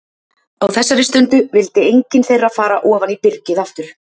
Á þessari stundu vildi engin þeirra fara ofan í byrgið aftur.